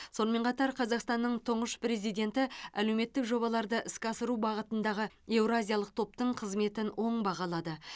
сонымен қатар қазақстанның тұңғыш президенті әлеуметтік жобаларды іске асыру бағытындағы еуразиялық топтың қызметін оң бағалады